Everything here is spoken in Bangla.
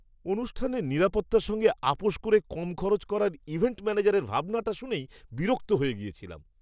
অনুষ্ঠানের নিরাপত্তার সঙ্গে আপোস করে কম খরচ করার ইভেন্ট ম্যানেজারের ভাবনাটা শুনেই বিরক্ত হয়ে গেছিলাম।